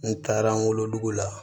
N taara an wolodugu la